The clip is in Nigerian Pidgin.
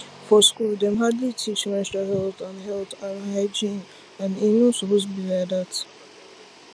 for school dem hardly teach menstrual health and health and hygiene and e no suppose be like that